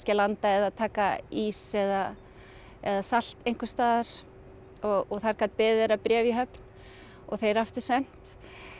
að landa eða taka ís eða eða salt einhvers staðar og þar gat beðið þeirra bréf í höfn og þeir aftur sent